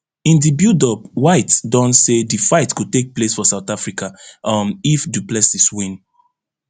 in di buildup white don say di fight go take place for south africa um if du plessis win